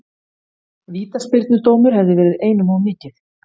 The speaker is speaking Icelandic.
Vítaspyrnudómur hefði verið einum of mikið.